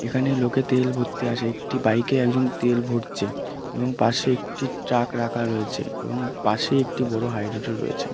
এখানে লোকে তেল ভরতে আসে একটি বাইক এ একজন তেল ভরছে এবং পাশে একটি ট্রাক রাখা রয়েছে এবং পাশে একটি বড় হায়দ্রোদম রয়েছে।